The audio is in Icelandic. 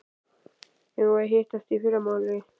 Eigum við að hittast í fyrramálið?